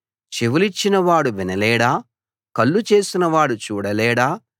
చెవులిచ్చినవాడు వినలేడా కళ్ళు చేసినవాడు చూడలేడా